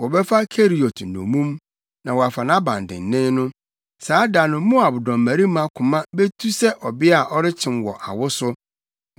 Wɔbɛfa Keriot nnommum na wɔafa nʼabandennen no. Saa da no Moab dɔmmarima koma betu sɛ ɔbea a ɔrekyem wɔ awo so.